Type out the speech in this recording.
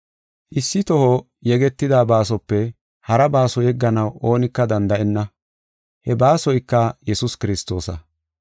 Issi toho yegetida baasope hara baaso yegganaw oonika danda7enna. He baasoyka Yesuus Kiristoosa.